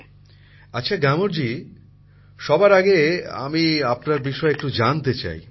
প্রধানমন্ত্রী জীঃ আচ্ছা গ্যামরজী সবার আগে আমি আপনার বিষয়ে একটু জানতে চাই